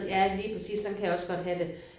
Ja lige præcis. Sådan kan jeg også godt have det